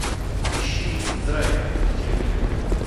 ищи драйв на телевизоре